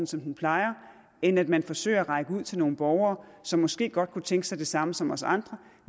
som den plejer end at man forsøger at række hånden ud til nogle borgere som måske godt kunne tænke sig det samme som os andre